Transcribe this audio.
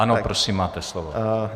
Ano, prosím máte slovo.